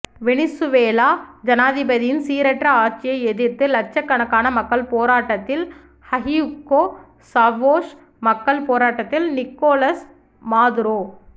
Venezuela ஜனாதிபதியின் சீரற்ற ஆட்சியை எதிர்த்து இலட்சக்கணக்கான மக்கள் போராட்டத்தில் ஹியூகோ சவோஸ் மக்கள் போராட்டத்தில் நிக்கோலஸ் மாதுரோ